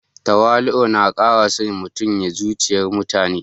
Tawali'u na kara son mutum a zuciyar mutane